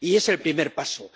Y es el primer paso.